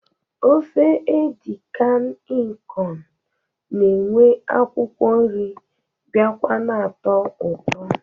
Ofe edi kan ịkọn na-enwe akwụkwọ nri biakwa na-atọ ụtọ